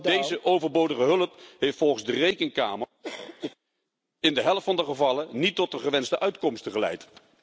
Deze overbodige hulp heeft volgens de Rekenkamer in de helft van de gevallen niet tot de gewenste uitkomsten geleid.